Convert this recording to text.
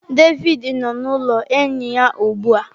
Devidi nọ n’ụlọ enyi ya ugbu a.